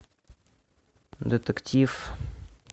детектив